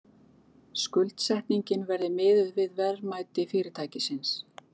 Skuldsetningin verði miðuð við verðmæti fyrirtækisins